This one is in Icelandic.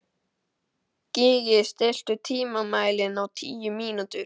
Gígí, stilltu tímamælinn á tíu mínútur.